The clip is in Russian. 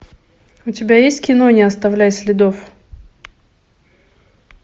у тебя есть кино не оставляй следов